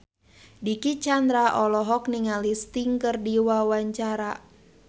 Dicky Chandra olohok ningali Sting keur diwawancara